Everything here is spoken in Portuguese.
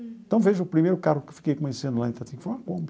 Então, veja, o primeiro carro que eu fiquei conhecendo lá em Itatinga foi uma Kombi.